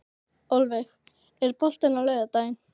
Ölveig, er bolti á laugardaginn?